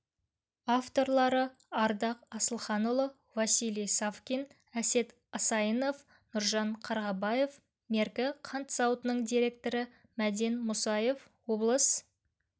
авторлары ардақ асылханұлы василий савкин әсет асайынов нұржан қарғабаев меркі қант зауытының директоры мәден мұсаев облыс